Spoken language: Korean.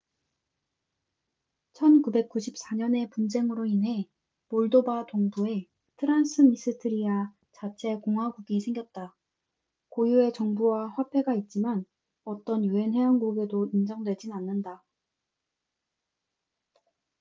1994년의 분쟁으로 인해 몰도바moldova 동부에 트란스니스트리아transnistria republic 자체 공화국이 생겼다. 고유의 정부와 화폐가 있지만 어떤 un 회원국에도 인정되진 않는다